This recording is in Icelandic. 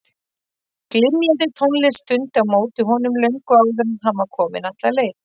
Glymjandi tónlist dundi á móti honum löngu áður en hann var kominn alla leið.